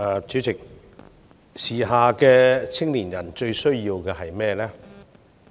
主席，時下青年人最需要的是甚麼？